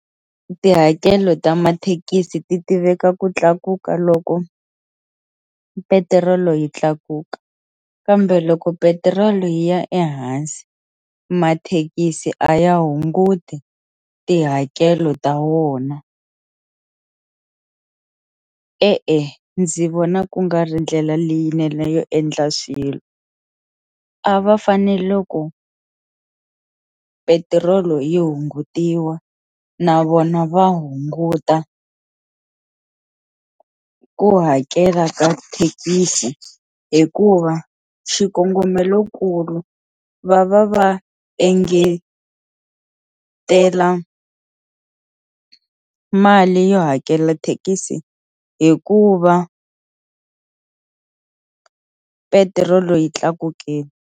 Tihakelo ta mathekisi ti tiveka ku tlakuka loko petirolo yi tlakuka kambe loko petirolo yi ya ehansi mathekisi a ya hunguti tihakelo ta wona e-e ndzi vona ku nga ri ndlela leyinene yo endla swilo a va fanele loko petirolo yi hungutiwa na vona va hunguta ku hakela ka thekisi hikuva xikongomelokulu va va va engetela mali yo hakela thekisi hikuva petirolo yi tlakukile.